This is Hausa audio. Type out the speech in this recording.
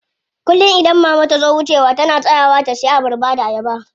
Kullum idan mama tazo wucewa tana tsayawa ta siya abarba da ayaba.